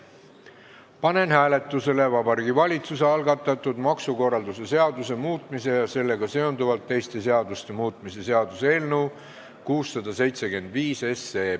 Panen hääletusele Vabariigi Valitsuse algatatud maksukorralduse seaduse muutmise ja sellega seonduvalt teiste seaduste muutmise seaduse eelnõu 675.